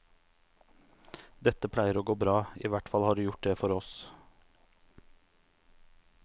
Dette pleier å gå bra, ihvertfall har det gjort det for oss.